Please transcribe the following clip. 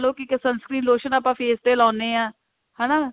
suns cream lotion ਆਪਾਂ face ਤੇ ਲਾਉਣੇ ਹਾਂ ਹਨਾ